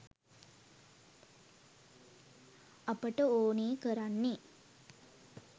අපට ඕනෙ කරන්නේ